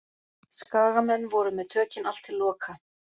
Skagamenn voru með tökin allt til loka.